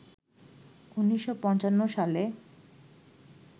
১৯৫৫ সালে